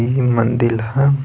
इह मंदील ह।